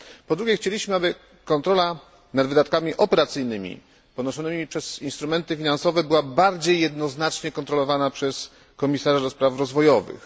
Po drugie, chcieliśmy, aby kontrola nad wydatkami operacyjnymi ponoszonymi przez instrumenty finansowe była bardziej jednoznacznie kontrolowana przez Komisarza do spraw rozwojowych.